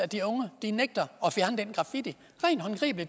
de unge nægter at fjerne den graffiti